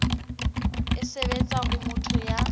e sebetsa ho motho ya